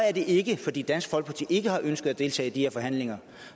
at det ikke er fordi dansk folkeparti ikke har ønsket at deltage i de her forhandlinger